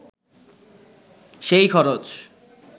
সেই খরচ